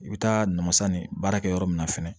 I bɛ taa namasa ni baarakɛ yɔrɔ min na fɛnɛ